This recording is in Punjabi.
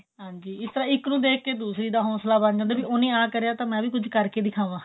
ਹਾਂਜੀ ਇਸ ਤਰ੍ਹਾਂ ਇੱਕ ਨੂੰ ਦੇਖ ਕੇ ਦੂਸਰੀ ਦਾ ਹੋਂਸਲਾ ਬੰਨ ਜਾਂਦਾ ਹੈ ਵੀ ਉਹਨੇ ਆਹ ਕਰਿਆ ਮੈਂ ਵੀ ਉਹਨੂੰ ਕੁੱਛ ਕਰਕੇ ਦਿਖਾਵਾਂ